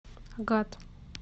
агат